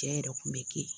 Cɛ yɛrɛ kun be kɛ